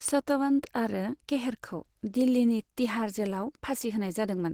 सतवंत आरो केहरखौ दिल्लीनि तिहाड़ जेलाव फासि होनाय जादोंमोन।